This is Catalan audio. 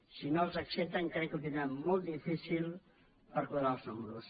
si no les accepten crec que ho tindran molt difícil per quadrar els números